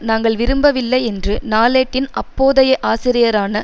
நாங்கள் விரும்பவில்லை என்று நாளேட்டின் அப்போதைய ஆசிரியரான